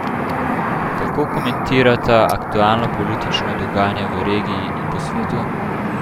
Kako komentirata aktualno politično dogajanje v regiji in po svetu?